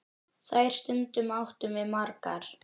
Þær stundir áttum við margar.